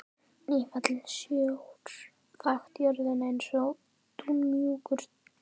Nýfallinn sjór þakti jörðina eins og dúnmjúkt teppi.